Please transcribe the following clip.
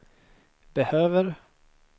behöver